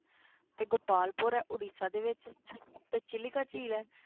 ਤੇ ਗੋਪਾਲਪੁਰ ਹੈ ਉਡੀਸਾ ਦੇ ਵਿੱਚ ਫਿਰ ਚਿਲਿਕਾ ਝੀਲ ਹੈ।